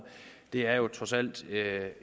er det jo trods alt